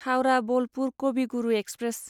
Howrah Bolpur Kavi Guru express